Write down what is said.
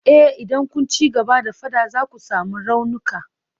Eh idan kun ci gaba da fada za ku sami raunuka.